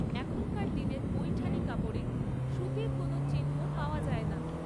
এখনকার দিনের পৈঠানি কাপড়ে সুতির কোনো চিহ্ন পাওয়া যায় না।